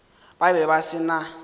ba be ba se na